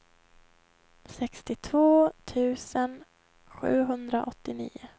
sextiotvå tusen sjuhundraåttionio